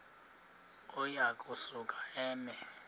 uya kusuka eme